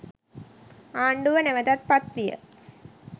ආණ්ඩුව නැවතත් පත්විය.